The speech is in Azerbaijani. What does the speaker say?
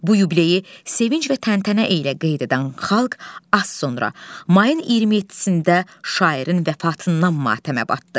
Bu yubileyi sevinc və təntənə ilə qeyd edən xalq az sonra, mayın 27-sində şairin vəfatından matəmə batdı.